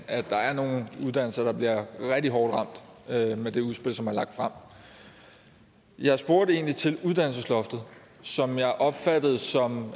at der er nogle uddannelser der bliver rigtig hårdt ramt med med det udspil som er lagt frem jeg spurgte egentlig til uddannelsesloftet som jeg opfattede som